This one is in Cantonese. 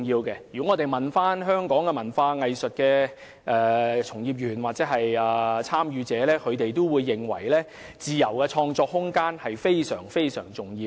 如果大家詢問香港的文化藝術從業員或參與者，他們均會認為自由創作空間非常重要。